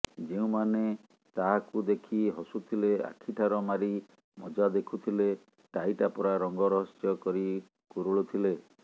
ଯେଉଁମାନେ ତାହାକୁ ଦେଖି ହସୁଥିଲେ ଆଖିଠାର ମାରି ମଜା ଦେଖୁଥିଲେ ଟାହି ଟାପରା ରଙ୍ଗ ରହସ୍ୟ କରି କୁରୁଳୁଥିଲେ